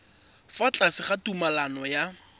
fa tlase ga tumalano ya